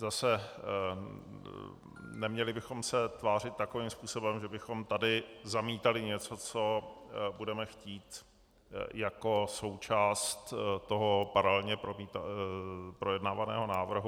Zase, neměli bychom se tvářit takovým způsobem, že bychom tady zamítali něco, co budeme chtít jako součást toho paralelně projednávaného návrhu.